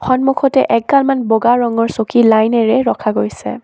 সন্মুখতে এগাল মান বগা ৰঙৰ চকী লাইন এৰে ৰখা গৈছে।